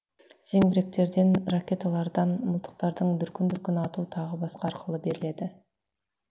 зеңбіректерден ракеталардан мылтықтардың дүркін дүркін ату тағы басқа арқылы беріледі